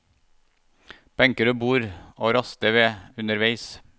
Benker og bord å raste ved underveis.